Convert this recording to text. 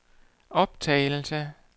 optagelse